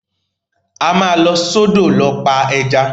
A máa lọ sọ́dọ̀ lọ pa ẹja.